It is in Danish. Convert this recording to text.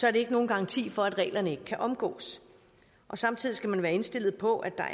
er det ikke nogen garanti for at reglerne ikke kan omgås samtidig skal man være indstillet på at der